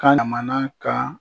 Ka na mana kan